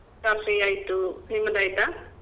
Coffee ಆಯ್ತು ನಿಮ್ದಾಯ್ತಾ?